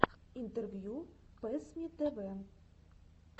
интервью пэссмитв